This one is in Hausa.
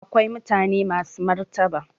Akwai mutane masu martaba